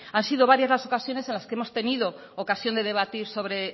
han sido varias las ocasiones en las que hemos tenido ocasión de debatir sobre